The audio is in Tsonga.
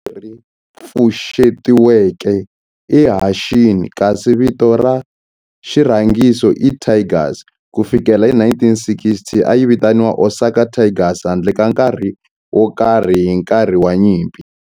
Vito leri pfuxetiweke i Hanshin kasi vito ra xirhangiso i Tigers. Ku fikela hi 1960, a yi vitaniwa Osaka Tigers handle ka nkarhi wo karhi hi nkarhi wa nyimpi.